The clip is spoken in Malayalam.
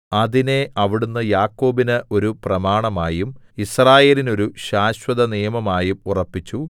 അതിനെ അവിടുന്ന് യാക്കോബിന് ഒരു പ്രമാണമായും യിസ്രായേലിനൊരു ശാശ്വതനിയമമായും ഉറപ്പിച്ചു